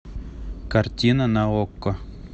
картина на окко